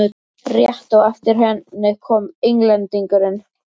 Rétt á eftir henni kom Englendingurinn.